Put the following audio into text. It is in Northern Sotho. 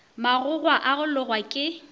magogwa a go logwa ke